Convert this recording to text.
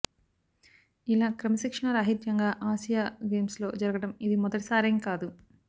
ఇలా క్రమశిక్షణా రాహిత్యంగా ఆసియా గేమ్స్లో జరగడం ఇది మొదటిసారేం కాదు